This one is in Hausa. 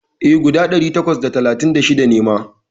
E, guda ɗari takwas da talatin da shida ne ma.